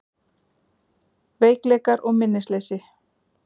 Veikleikar og minnisleysi